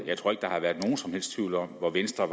jeg tror ikke at der som helst tvivl om hvor venstre